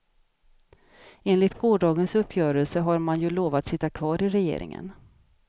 Enligt gårdagens uppgörelse har man ju lovat sitta kvar i regeringen.